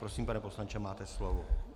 Prosím, pane poslanče, máte slovo.